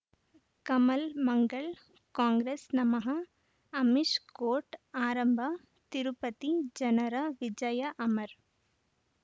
ಕಮಲ್ ಮಂಗಳ್ ಕಾಂಗ್ರೆಸ್ ನಮಃ ಅಮಿಷ್ ಕೋರ್ಟ್ ಆರಂಭ ತಿರುಪತಿ ಜನರ ವಿಜಯ ಅಮರ್